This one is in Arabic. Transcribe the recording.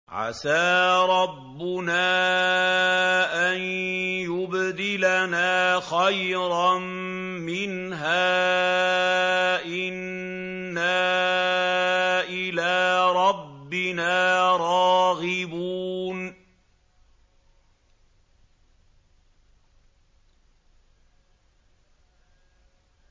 عَسَىٰ رَبُّنَا أَن يُبْدِلَنَا خَيْرًا مِّنْهَا إِنَّا إِلَىٰ رَبِّنَا رَاغِبُونَ